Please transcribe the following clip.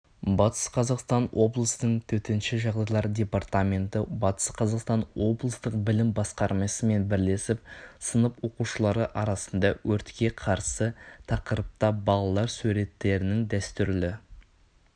батыс қазақстан облысының төтенше жағдайлар департаменті батыс қазақстан облыстық білім басқармасымен бірлесіп сынып оқушылары арасында өртке қарсы тақырыпта балалар суреттерінің дәстүрлі